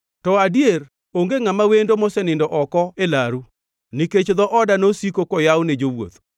to adier, onge ngʼama wendo mosenindo oko e laru, nikech dho oda nosiko koyaw ne jawuoth.